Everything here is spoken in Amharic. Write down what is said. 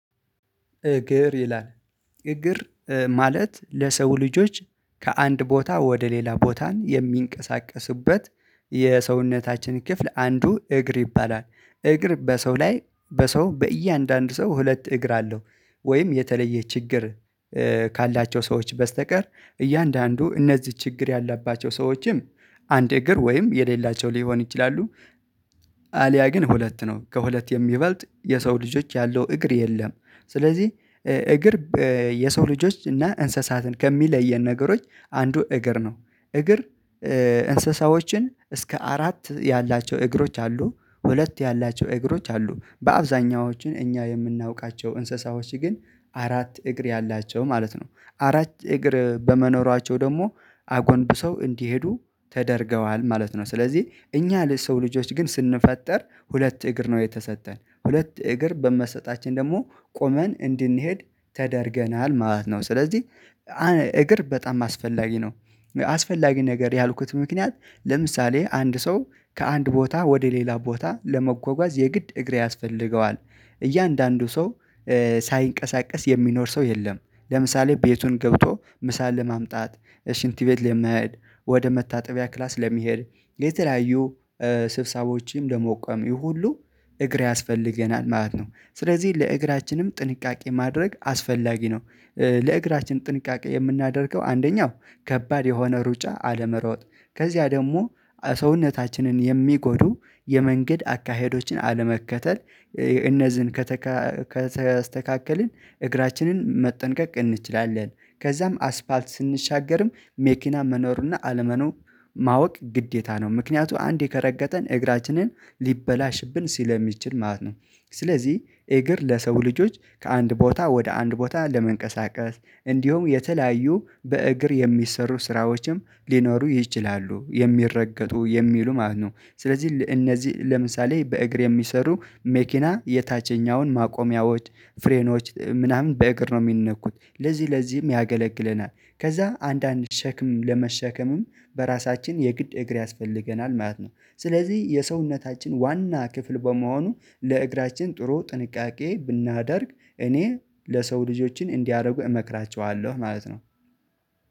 እግር ይላል እግር ማለት ለሰው ልጆች ከአንድ ቦታ ወደ ሌላ ቦታን የሚንቀሳቀሱበት የሰውነታችን ክፍል አንዱ እግር ይባላል። እግር በሰው ላይ በሰው በእያንዳንዱ ሰው ሁለት እግር አለው ወይም የተለየ ችግር ካላቸው ሰዎች በስተቀር እያንዳንዱ እነዚህ ችግር ያላባቸው ሰዎችም አንድ እግር ወይም የሌላቸው ሊሆን ይችላሉ። አልያ ግን ሁለት ነው ከሁለት የሚበልጥ የሰው ልጆች ያለው እግር የለም። ስለዚህ እግር የሰው ልጆች እና እንስሳትን ከሚለየን ነገሮች አንዱ እግር ነው። እግር እንስሳዎችን እስከ አራት ያላቸው እግሮች አሉ ሁለት ያላቸው እግሮች አሉ በአብዛኛዎቹ እኛ የምናውቃቸው እንስሳዎች ግን አራት እግር ያላቸው ማለት ነው አራት እግር በመኖራቸው ደግሞ አጎንብሰው እንዲሄዱ ተደርገዋል ማለት ነው። ስለዚህ እኛ ሰው ልጆች ግን ስንፈጠር ሁለት እግር ነው የተሰጠን ሁለት እግር በመሰጠታችን ደግሞ ቆመን እንድንሄድ ተደርገናል ማለት ነው። ስለዚህ እግር በጣም አስፈላጊ ነው። አስፈላጊ ነገር ያልኩት ምክንያት ለምሳሌ አንድ ሰው ከአንድ ቦታ ወደ ሌላ ቦታ ለመጓጓዝ የግድ እግር ያስፈልገዋል እያንዳንዱ ሰው ሳይንቀሳቀስ የሚኖር ሰው የለም። ለምሳሌ ቤቱን ገብቶ ምሳ ለማምጣት እ ሽንት ቤት ለመሄድ ወደ መታጠቢያ ክላስ ለመሄድ የተለያዩ ስብሰቦዎችን ለመቆም ይሄ ሁሉ እግር ያስፈልገናል ማለት ነው። ስለዚህ ለእግራችንም ጥንቃቄ ማድረግ አስፈላጊ ነው። ለእግራችን ጥንቃቄ የምናደርገው አንደኛው ከባድ የሆነ ሩጫ አለመሮጥ ከዚያ ደግሞ ሰውነታችንን የሚጎዱ የመንገድ አካሄዶችን አለመከተል እነዚህን ከተስተካከልን እግራችንን መጠንቀቅ እንችላለን። ከዛም አስፓልት ስንሻገርም መኪና መኖሩና አለመኖሩ ማወቅ ግዴታ ነው ምክንያቱ አንዴ ከረገጠን እግራችንን ሊበላሽብን ስለሚችል ማለት ነው። ስለዚህ እግር ለሰው ልጆች ከአንድ ቦታ ወደ አንድ ቦታ ለመንቀሳቀስ እንዲሁም የተለያዩ በእግር የሚሰሩ ስራዎችም ሊኖሩ ይችላሉ የሚረገጡ የሚሉ ማለትነው። ስለዚህ እነዚህ ለምሳሌ በእግር የሚሰሩ መኪና የታችኛውን ማቆሚያዎች ፍሬኖች ምናምን በእግር ነው የሚነኩት ለዚህ ለዚህም ያገለግለናል ከዛ አንዳንድ ሸክም ለመሸከምም በራሳችን የግድ እግር ያስፈልገናል ማለት ነው። ስለዚህ የሰውነታችን ዋና ክፍል በመሆኑ ለእግራችን ጥሩ ጥንቃቄ ብናደርግ እኔ ለሰው ልጆችን እንዲያደርጉ እመክራቸዋለሁ ማለት ነው።